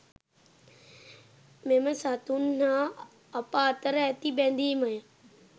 මෙම සතුන් හා අප අතර ඇති බැදීමය.